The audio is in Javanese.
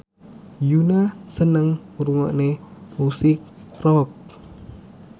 Yoona seneng ngrungokne musik rock